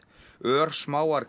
örsmáar